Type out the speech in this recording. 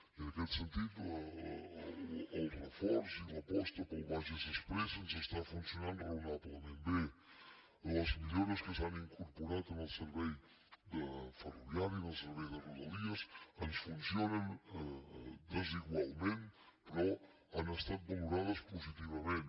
i en aquest sentit el reforç i l’aposta pel bages exprés ens està funcionant raonablement bé les millores que s’han incorporat en el servei ferroviari en el servei de rodalies ens funcionen desigualment però han estat valorades positivament